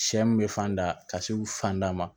Sɛ mun bɛ fan da ka se u fanda ma